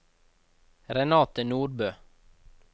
Renate Nordbø